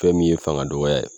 Fɛn min ye fanga dɔgɔya ye